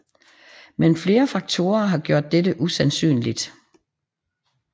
Men flere faktorer har gjort dette usandsynligt